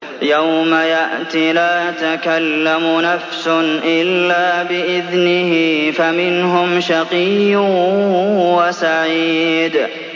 يَوْمَ يَأْتِ لَا تَكَلَّمُ نَفْسٌ إِلَّا بِإِذْنِهِ ۚ فَمِنْهُمْ شَقِيٌّ وَسَعِيدٌ